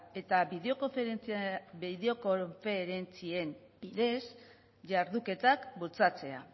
eta bideokonferentzien bidez jarduketak bultzatzea